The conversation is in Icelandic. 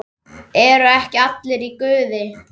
ERU EKKI ALLIR Í GUÐI?